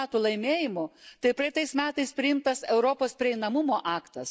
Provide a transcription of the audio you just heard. m. laimėjimų, tai praeitais metais priimtas Europos prieinamumo aktas.